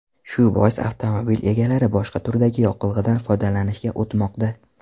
Shu bois avtomobil egalari boshqa turdagi yoqilg‘idan foydalanishga o‘tmoqda.